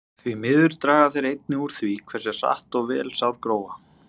Því miður draga þeir einnig úr því hversu hratt og vel sár gróa.